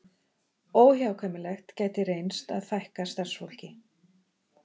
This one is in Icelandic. Óhjákvæmilegt gæti reynst að fækka starfsfólki